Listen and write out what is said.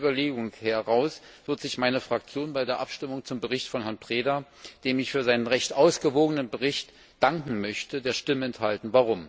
Von dieser Überlegung heraus wird sich meine Fraktion bei der Abstimmung zum Bericht von Herrn Preda dem ich für seinen recht ausgewogenen Bericht danken möchte der Stimme enthalten.